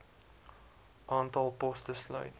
aantal poste sluit